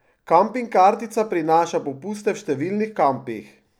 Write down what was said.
Kamping kartica prinaša popuste v številnih kampih.